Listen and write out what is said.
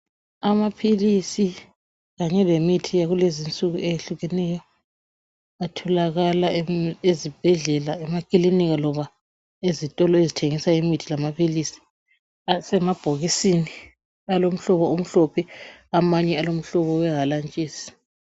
Amaphilisi kanye lemithi yakulezinsuku eyehlukeneyo atholakala ezibhedlela, emakilinika loba ezitolo ezithengisa imithi lamaphilisi. Asemabhokisini alomhlobo omhlophe, amanye alomhlobo wehalantshisi